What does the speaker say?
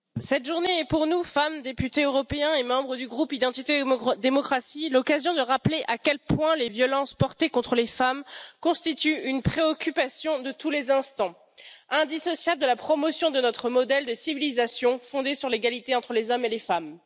Cette journée est pour nous, femmes, députées européens et membres du groupe Identité et démocratie, l'occasion de rappeler à quel point les violences commises contre les femmes constituent une préoccupation de tous les instants, indissociable de la promotion de notre modèle de civilisation fondé sur l'égalité entre les hommes et les femmes.